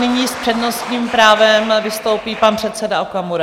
Nyní s přednostním právem vystoupí pan předseda Okamura.